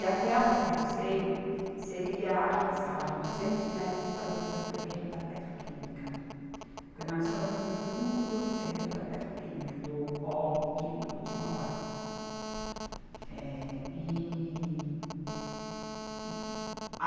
E até aonde eu sei, seria avançado duzentos metros para dentro do terreno da petroquímica, porque nós estamos no fundo do terreno da petroquímica, do polo químico de Mauá. Eh, e, e